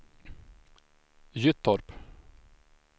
Gyttorp